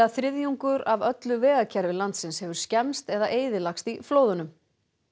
þriðjungur af öllu vegakerfi landsins hefur skemmst eða eyðilagst í flóðunum